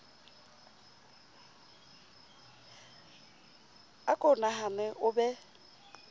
a ko nahane o be